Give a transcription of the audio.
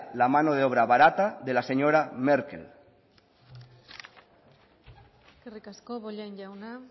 la mano de obra barata de la señora merkel eskerrik asko bollaín jauna